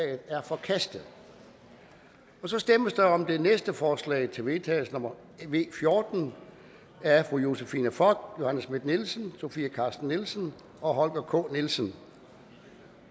er forkastet der stemmes om det næste forslag til vedtagelse nummer v fjorten af josephine fock johanne schmidt nielsen sofie carsten nielsen og holger k nielsen og